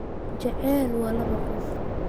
Jacaylku waa laba qof